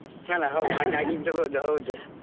ಅಲ್ಲಾ ಹೌದ್ ಆಗೇ ಆಗಿರ್ಬಹುದು ಹೌದು.